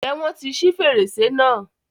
Ǹjẹ́ wọ́n ti ṣi fèrèsé náà?